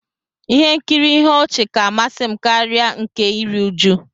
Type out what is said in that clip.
Ihe nkiri ihe ọchị ka amasi m karia nke iri uju